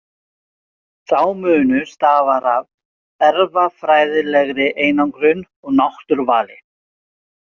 Sá munur stafar af erfðafræðilegri einangrun og náttúruvali.